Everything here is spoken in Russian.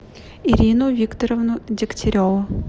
ирину викторовну дегтяреву